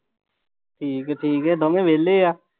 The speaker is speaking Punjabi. ਠੀਕ ਹੈ ਠੀਕ ਹੈ ਦੋਵੇਂ ਵਿਹਲੇ ਆ।